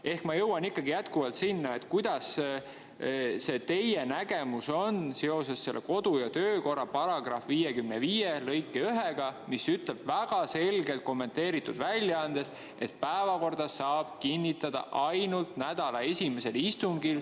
Ehk ma jõuan ikkagi jätkuvalt sinna, et kuidas on teie nägemus seoses kodu‑ ja töökorra § 55 lõikega 1, mille kohta ütleb kommenteeritud väljaanne väga selgelt, et päevakorda saab kinnitada ainult nädala esimesel istungil .